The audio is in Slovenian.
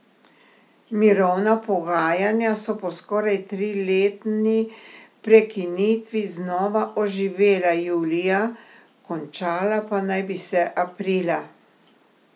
Mirovna pogajanja so po skoraj triletni prekinitvi znova oživela julija, končala pa naj bi se aprila.